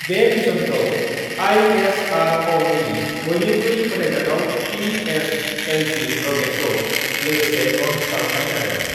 बे मिशनखौ आइएसआरअनि बयनिख्रुइ फोथाइजाथाव पिएस एलभि रकेटखौ लोगोसे लन्च खालामनाय जादों।